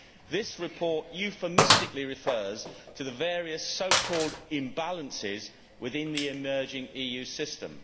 This report euphemistically refers to the various so called imbalances within the emerging EU system.